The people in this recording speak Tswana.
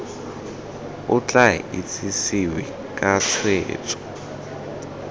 o tla itsesewe ka tshwetso